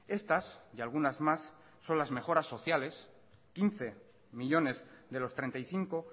estas y algunas más son las mejoras sociales quince millónes de los treinta y cinco